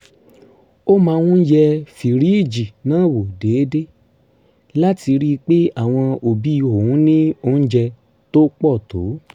ó máa ń yẹ fìríìjì náà wò déédéé láti rí i pé àwọn òbí òun ní oúnjẹ tó pọ̀ tó